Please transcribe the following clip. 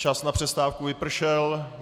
Čas na přestávku vypršel.